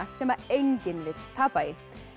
sem enginn vill tapa í